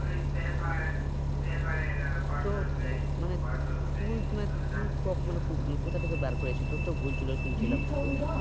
তো তামানে তুই আহ তুই কমানে কোকোথা থেকে বের করেছিস তোর তো ভুল ছিল শুনছিলাম সুদ